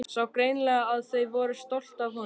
Sá greinilega að þau voru stolt af honum.